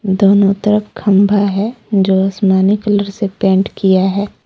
दोनो तरफ खंभा है जो आसमानी कलर से पेंट किया है।